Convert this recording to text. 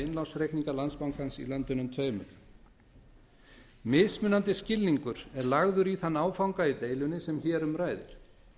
innlánsreikninga landsbankans í löndunum tveimur mismunandi skilningur er lagður í þann áfanga í deilunni sem hér um ræðir